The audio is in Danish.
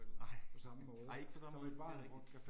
Nej, nej ikke på samme, det er rigtigt